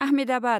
Ahmedabad